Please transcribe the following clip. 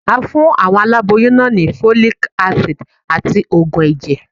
A fún àwọn aláboyún náà ni Folic Acid àti Ògùn ẹ̀jẹ̀.